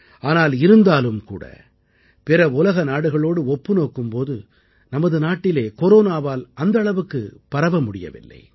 ஆனால் இருந்தாலும்கூட பிற உலக நாடுகளோடு ஒப்பு நோக்கும் போது நமது நாட்டிலே கொரோனாவால் அந்த அளவுக்குப் பரவ முடியவில்லை